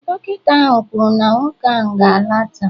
Dọkịta ahụ kwuru na nwoke ahụ ga-ala taa